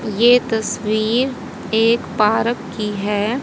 ये तस्वीर एक पार्क की है।